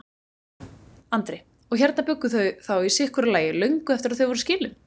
Andri: Og hérna bjuggu þau þá í sitthvoru lagi löngu eftir að þau voru skilin?